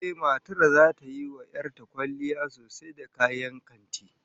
Ehh, matar zata yi wa 'yar ta kwalliya sosai da kayan kanti